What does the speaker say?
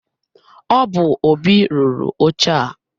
Ọ bu Óbị rụrụ oche a.